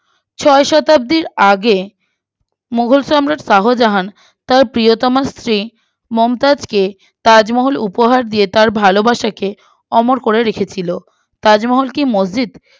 ছয় শতাব্দীর আগে মুগল সম্রাট শাহজাহান তার প্রিয়তমা স্ত্রী মমতাজকে তাজমহল উপহার দিয়ে তার ভালোবাসাকে অমর করে রেখেছিলো তাজমহল কি মসজিদ